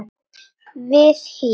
við HÍ.